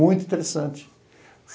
Muito interessante.